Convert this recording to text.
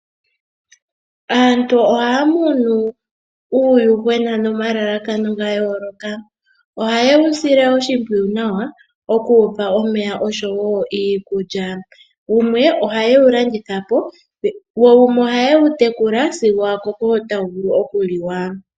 Aantu ohaya munu uuyuhwena nomalalakano ga yooloka. Oha yewu sile oshimpwiyu nawa oku wupa omeya oshowo iikulya wumwe ohayewu landitha wo wumwe oha yewu tekula sigo wakoko tawu vulu okuliwa.